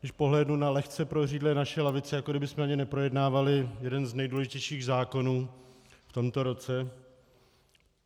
Když pohlédnu na lehce prořídlé naše lavice, jako kdybychom ani neprojednávali jeden z nejdůležitějších zákonů v tomto roce.